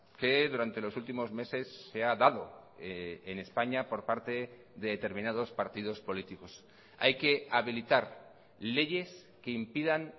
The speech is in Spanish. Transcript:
que durante los últimos meses se ha dado en españa por parte de determinados partidos políticos hay que habilitar leyes que impidan